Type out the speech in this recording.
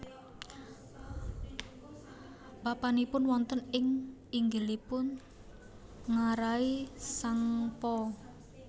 Papanipun wonten ing inggilipun ngarai Tsangpo